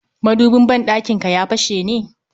Madubin ban ɗakinka ya fashe ne?